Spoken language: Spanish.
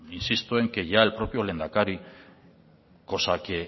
insisto en que ya el propio lehendakari cosa que